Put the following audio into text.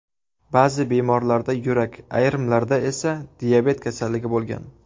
Ba’zi bemorlarda yurak, ayrimlarda esa diabet kasalligi bo‘lgan.